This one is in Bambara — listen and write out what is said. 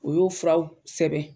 U y'o furaw sɛbɛn.